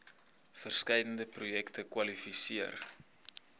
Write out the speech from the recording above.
verskeidenheid projekte kwalifiseer